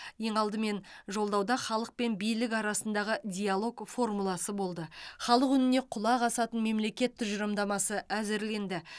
ең алдымен жолдауда халық пен билік арасындағы диалог формуласы болды халық үніне құлақ асатын мемлекет тұжырымдамасы әзірленді